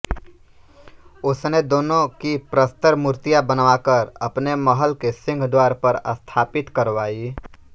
उसने दोनों की प्रस्तर मूर्तियाँ बनवाकर अपने महल के सिंहद्वार पर स्थापित करवाई